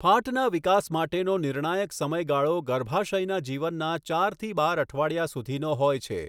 ફાટના વિકાસ માટેનો નિર્ણાયક સમયગાળો ગર્ભાશયના જીવનના ચાર થી બાર અઠવાડિયા સુધીનો હોય છે.